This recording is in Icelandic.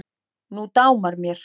Nú dámar mér!